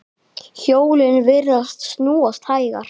Hjólin virðast snúast hægar.